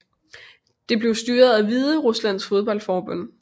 Den bliver styret af Hvideruslands fodboldforbund